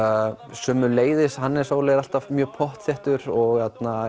sömuleiðis Hannes Óli er alltaf mjög pottþéttur og